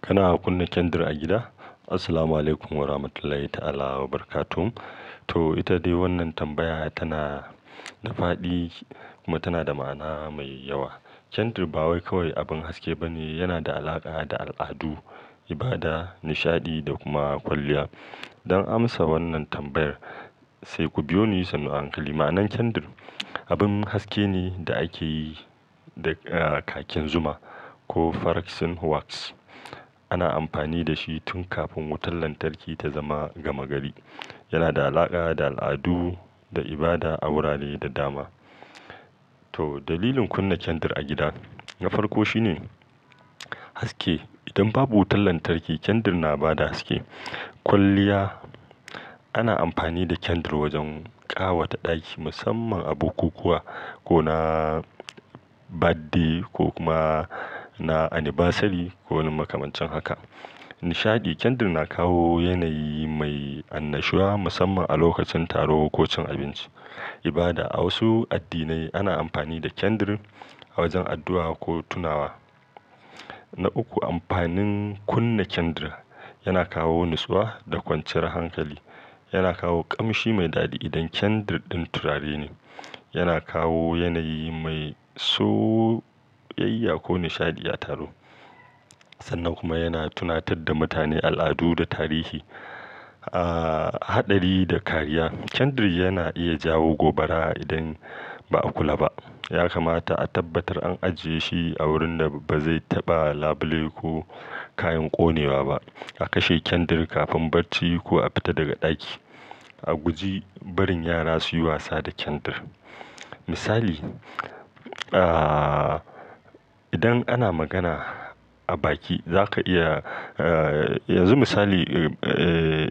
Kana kunna kendir a gida? Assalamualaikum warahmatullahi ta'ala wabarakatuh. To, ita dai wannan tambaya tana da faɗi kuma tana da ma'ana mai yawa. Kendir ba kawai abin haske ba ne, yana da alaƙa da al'adu, ibada, nishaɗi da kuma kwalliya. Don amsa wannan tambayar, sai ku biyo ni sannu a hankali. Ma'anar kendir: abun haske ne da ake yi da, ah, kakin zuma ko paraksin wax. Ana amfani da shi tun kafin wutar lantarki ta zama gama gari. Yana da alaƙa da al'adu, da ibada, a wurare da dama. To, dalilin kunna kendar a gida na farko shi ne haske. Idan babu wutar lantarki, kendir na ba da haske. Kwalliya: ana amfani da kendir wajen ƙawata ɗaki musamman a bukukuwa ko na birthday ko kuma na annibasari ko wani makamancin haka. Nishaɗi: kendar na kawo yanayi mai annashuwa musamman a lokacin taro ko cin abinci. Ibada: a wasu addinai ana amfani da kendir a wajen addu'a ko tunawa. Na uku, amfanin kunna kendar: yana kawo natsuwa da kwanciya hankali. Yana kawo ƙamshi mai daɗi idan kendir ɗin turare ne. Yana kawo yanayi mai soyayya ko nishaɗi a taro. Sannan kuma yana tunatar da mutane al'adu da tarihi. Ah, haɗari da kariya: kendar yana iya jawo gobara idan ba a kula ba. Ya kamata a tabbatar an ajiye shi a wurin da ba zai taɓa labule ko kayan ƙone wa ba. A kashe kendar kafin barci ko a fita daga ɗaki. A guji barin yara su yi wasa da kendar. Misali, ah, idan ana magana a baki, za ka iya, ah, yanzu misali, eh,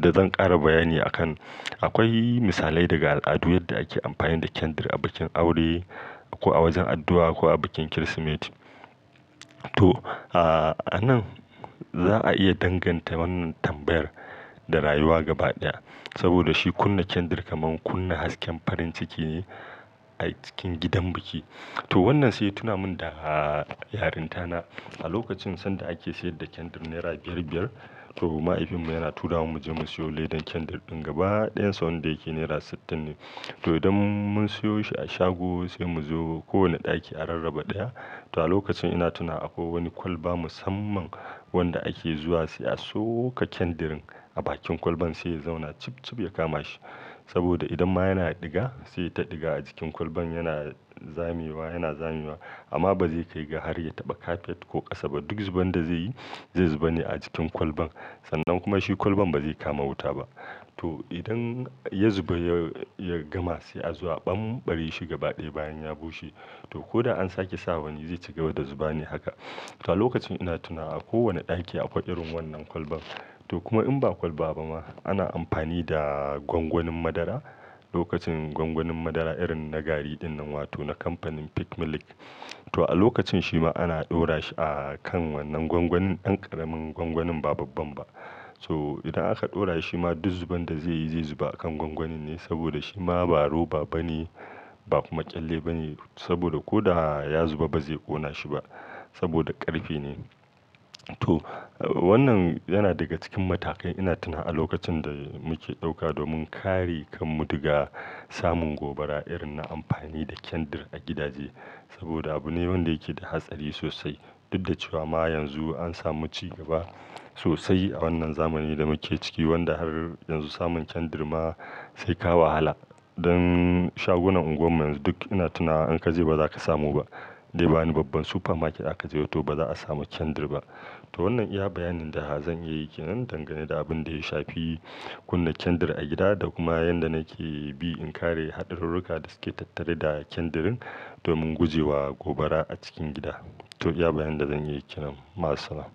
da zan ƙara bayani a kan. Akwai misalai daga al'adu yadda ake amfani da kendir a bikin aure ko a wajen addu'a ko a bikin Kirsimeti. To, ah, a nan za a iya danganta wannan tambayar da rayuwa gaba ɗaya. Saboda shi kunna kendir kaman kunna hasken farin ciki ne a cikin gidan biki. To, wannan sai ya tuna min da yarintana a lokacin sanda ake siyar da kendir naira biyar biyar. To, mahaifinmu yana tura mu mu je mu siyo ledan kendir ɗin gaba ɗayan sa wanda yake naira sittin ne. To, idan mun siyo shi a shago sai mu zo ko wani ɗaki a rarraba ɗaya. To a lokacin ina tuna a ko wani kwalba musamman wanda ake zuwa sai a soka kendarin a bakin kwalban sai ya zauna cibcib ya kama shi. Saboda idan ma yana ɗiga sai ta ɗiga a jikin kwalban yana zamewa, yana zamewa amma ba zai kai ga har ya taɓa kafet ko ƙasa ba. Duk zuban da zai yi zai zuba ne a jikin kwalban sannan kuma shi kwalban ba zai kama wuta ba. To, idan ya zuba ya, ya gama sai a zo a ɓamɓare shi gaba ɗaya bayan ya bushe. To, ko da an sake sawa ni zai ci gaba da zuba ne haka. To a lokacin ina tuna a kowane ɗaki akwai irin wannan kwalban. To kuma in ba kwalba ba ma ana amfani da gwangwanin madara. Lokacin gwangwanin madara irin na gari dinnan wato na kamfanin Peak Milk. To a lokacin shi ma ana ɗora shi a kan wannan gwangwanin, ɗan ƙaramin gwangwanin ba babban ba. So idan aka ɗora shi ma duk zuban da zai yi zai zuba a kan gwangwanin ne saboda shi ma ba roba ba ne ba kuma ƙyalle ba ne saboda ko da ya zuba ba zai ƙona shi ba saboda ƙarfe ne. To, wannan yana daga cikin matakai ina tuna a lokacin da muke ɗauka domin kare kan mu daga samun gobara irin na amfani da kendir a gidaje. Saboda abune wanda yake da hatsari sosai. Duk da cewa ma yanzu an samu ci gaba sosai a wannan zamanin da muke ciki wanda har yanzu samun kendir ma sai ka wahala. Dan shagunan unguwan mu yanzu duk ina tunawa in ka je ba za ka samu ba. Dai ba wani babban super market zaka je ba to ba za a samu kendir ba. To wannan iya bayanin da zan iya yi ke nan dangane da abin da ya shafi kunna kendar a gida da kuma yanda nake bi in kare haɗururruka da suke tattare da kendirin domin gujewa gobara a cikin gida. To iya bayanin da zan iya yi ke nan. Masalamah.